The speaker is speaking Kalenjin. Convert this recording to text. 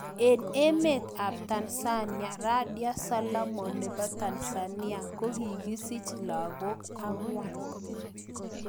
Eng emeet ap Tansania Radhia Solomon nepoo Tanzania kokisich lagok angwan